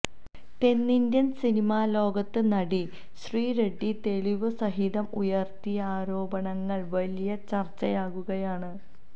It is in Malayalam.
തെന്നിന്ത്യന് സിനിമാ ലോകത്ത് നടി ശ്രീ റഡ്ഡി തെളിവ് സഹിതം ഉയര്ത്തിയ ആരോപണങ്ങള് വലിയ ചര്ച്ചയാകുകയാണ്